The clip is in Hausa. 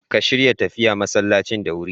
Ka shirya tafiya masallacin da wurin.